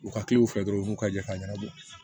U ka filɛ dɔrɔn u b'u ka jɛ ka ɲɛnabɔ